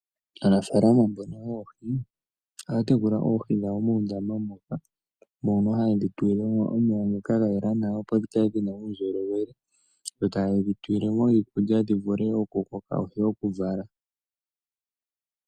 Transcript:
Aanafaalama mbono yoohi ohaa tekula oohi dhawo muundama moka hayedhi tulilemo omeya ngoka gayela nawa opo dhikale dhina uundjolowele. Dho tayedhi tulilemi iikulya dhi vule okukoka noshowo okuvala.